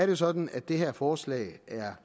jo sådan at det her forslag er